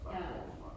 Ja